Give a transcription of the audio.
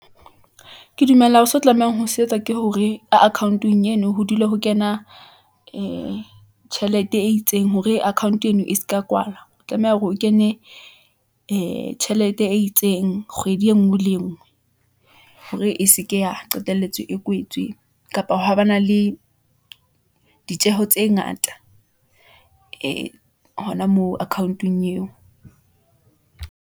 Ke dumela ho seo o tlamehang ho se etsa. Ke hore ka account -ong eno ho dula ho kena ee tjhelete e itseng hore account-e eno e seka kwala , tlameha hore o kene ee tjhelete e itseng kgwedi engwe le engwe , hore e seke ya qetelletse e kwetswe , kapa ha ba na le ditjeho tse ngata ee hona moo accaount-ong eo.